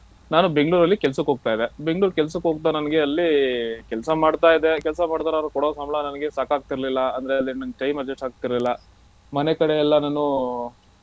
ನಾನು Bangalore ಲ್ಲಿ ಕೆಲಸಕ್ಕೊಗತಿದ್ದೆ Bangalore ಕೆಲಸಕ್ ಹೋಗ್ತಾ ನನಗೆ ಅಲ್ಲಿ ಕೆಲಸ ಮಾಡ್ತಾಯಿದ್ದೆ ಕೆಲಸ ಮಾಡಿದ್ರೂ ಅವರು ಕೊಡು ಸಂಬಳ ನನ್ಗೆ ಸಾಕ್ಕಾಗತಿರಲಿಲ್ಲ ಅಂದ್ರೆ ಅಲ್ಲಿ ನಂಗ್ time adjust ಆಗತಿರಲಿಲ್ಲ ಮನೆಕಡೆ ಎಲ್ಲ ನಾನು.